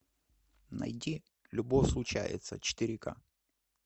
найди любовь случается четыре ка